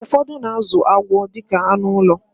Ụfọdụ na-azụ agwọ dịka anụ ụlọ